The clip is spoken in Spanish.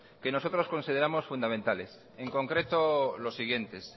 que nosotros consideramos fundamentales en concreto los siguientes